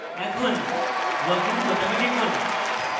এখন login বোতামে টিপুন